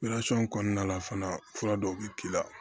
kɔnɔna la fana fura dɔw bɛ k'i la